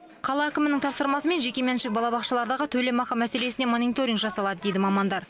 қала әкімінің тапсырмасымен жекеменшік балабақшалардағы төлемақы мәселесіне мониторинг жасалады дейді мамандар